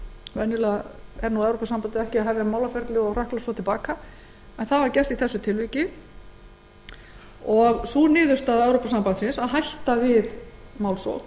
venjulega hefur evrópusambandið ekki málaferli sem það dregur til baka það var þó gert í þessu tilviki og sú niðurstaða evrópusambandsins að hætta við málsókn